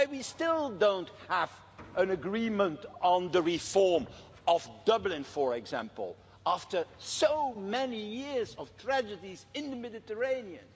Why do we still not have an agreement on the reform of Dublin, for example, after so many years of tragedies in the Mediterranean?